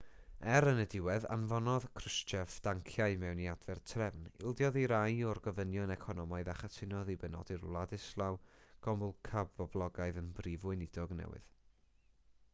er yn y diwedd anfonodd krushchev danciau i mewn i adfer trefn ildiodd i rai o'r gofynion economaidd a chytunodd i benodi'r wladyslaw gomulka poblogaidd yn brif weinidog newydd